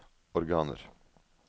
organer